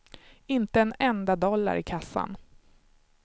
Inte en enda dollar i kassan.